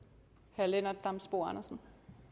herre lennart damsbo andersen